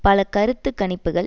பல கருத்து கணிப்புக்கள்